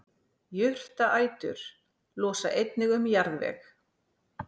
jurtaætur losa einnig um jarðveg